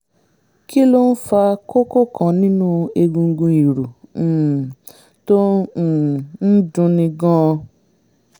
kí ló ń fa kókó kan nínú egungun ìrù um tó um ń dunni gan-an?